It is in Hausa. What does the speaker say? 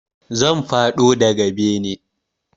Zan faɗo daga bene